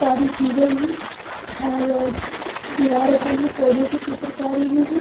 दारी की गयी है और दीवारों पे भी पोधो की चित्रकारी भी है।